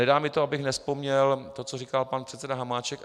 Nedá mi to, abych nevzpomněl to, co říkal pan předseda Hamáček.